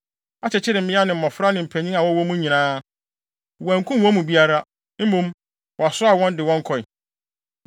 akyekyeree mmea ne mmofra ne mpanyin a wɔwɔ mu nyinaa. Wɔankum wɔn mu biara, mmom, wɔsoaa wɔn de wɔn kɔe.